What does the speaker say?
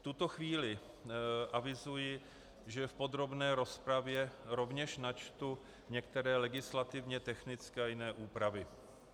V tuto chvíli avizuji, že v podrobné rozpravě rovněž načtu některé legislativně technické a jiné úpravy.